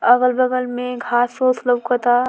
अगल-बगल में घास उ लउकता।